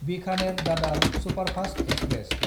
बिखानेर–दादार superfast express